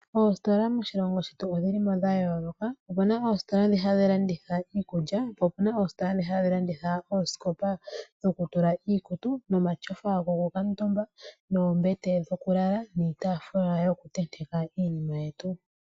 Oositola moshilongo shetu odhi li mo dha yooloka. Opuna oositola ndhi hadhi landitha iikulya, po opuna oositola ndhi hadhi landitha oosikopa dho ku tula iikutu, nomatyofa go ku kuutumba , oombete dho ku lala, niitaafula yoku tenteka iinima yetu.